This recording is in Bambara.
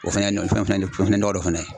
O fɛnɛ ye fɛnɛ ye nɔgɔ dɔ fɛnɛ ye